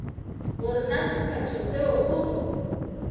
gore na sephetho seo o